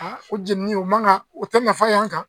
A o jeninin o man kan o tɛ nafa y'an kan.